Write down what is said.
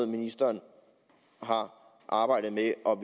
ministeren har arbejdet med og